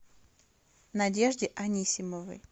надежде анисимовой